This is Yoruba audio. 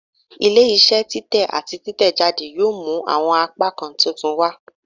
Ile-iṣẹ titẹ ati titẹjade yoo mu awọn apakan titun wa